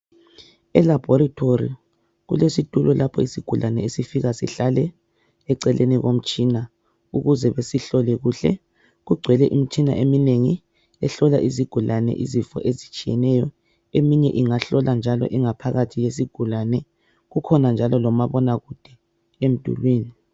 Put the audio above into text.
Elabhoretori kulesitulo lapho isigulane esifika sihlale eceleni komtshina ukuze basihlole kuhle. Kugcwele imitshina eminengi ehlola izigulane izifo ezitshiyeneyo eminye ingahlola ingaphakathi yesigulane. Kukhona njalo lomabonakude emdulini.